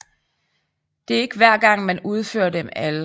Det er ikke hver gang man udfører dem alle